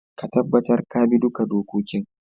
Ka tabatar ka bi duka dokokin